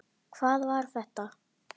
HVAÐ VAR ÞETTA?